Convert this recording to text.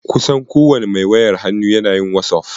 Kusan kowane mai wayar hannu na yin wasof.